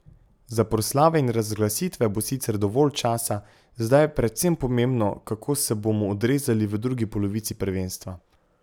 Za proslave in razglasitve bo sicer dovolj časa, zdaj je predvsem pomembno, kako se bomo odrezali v drugi polovici prvenstva.